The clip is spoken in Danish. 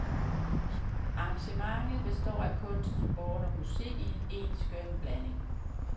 Arrangementet består af kunst, sport og musik i en skøn blanding.